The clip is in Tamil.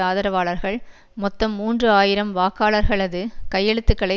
ஆதரவாளர்கள் மொத்தம் மூன்று ஆயிரம் வாக்காளர்களது கையெழுத்துக்களை